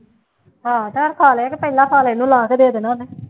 ਹਾਂ ਚੱਲ ਖਾ ਲਏ ਕਿ ਪਹਿਲਾ ਥਾਲ ਇਹਨੂੰ ਲਾਹ ਕੇ ਦੇ ਦੇਣਾ ਉਹਨੇ